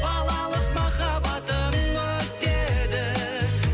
балалық махаббатым өтеді